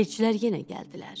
Elçilər yenə gəldilər.